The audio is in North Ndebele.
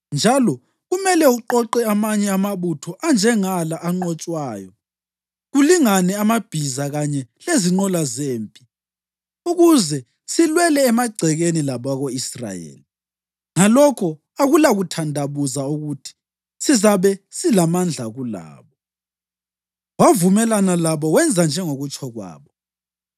Njalo kumele uqoqe amanye amabutho anjengala anqotshwayo, kulingane amabhiza kanye lezinqola zempi ukuze silwele emagcekeni labako-Israyeli. Ngalokho akulakuthandabuza ukuthi sizabe silamandla kulabo.” Wavumelana labo wenza njengokutsho kwabo.